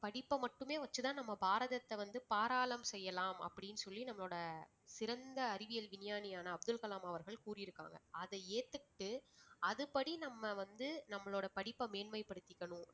படிப்பை மட்டுமே வச்சுதான் நம்ம பாரதத்தை வந்து பாராளம் செய்யலாம் அப்படின்னு சொல்லி நம்மளோட சிறந்த அறிவியல் விஞ்ஞானியான அப்துல் கலாம் அவர்கள் கூறியிருக்காங்க. அதை ஏத்துக்கிட்டு அதுபடி நம்ம வந்து நம்மளுடைய படிப்ப மேன்மை படுத்திக்கணும்